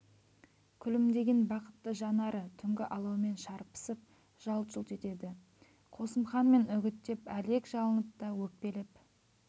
күлімдеген бақытты жанары түнгі алаумен шарпысып жалт-жұлт етеді қосымхан мен үгіттеп әлек жалынып та өкпелеп